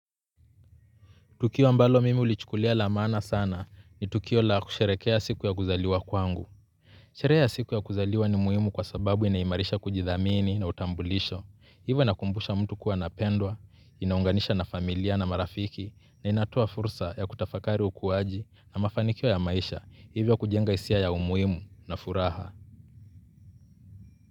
Tukio ambalo mimi hulichukulia la maana sana ni tukio la kusherehekea siku ya kuzaliwa kwangu. Sherehe ya siku ya kuzaliwa ni muhimu kwa sababu inaimarisha kujithamini na utambulisho. Hivyo inakumbusha mtu kuwa anapendwa, inaunganisha na familia na marafiki na inatoa fursa ya kutafakari ukuaji na mafanikio ya maisha hivyo kujenga hisia ya umuhimu na furaha.